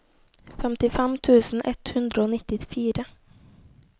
femtifem tusen ett hundre og nittifire